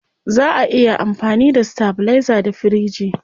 Zaa a iya amfani da stabilizer da firiji.